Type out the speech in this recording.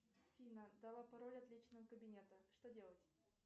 афина дала пароль от личного кабинета что делать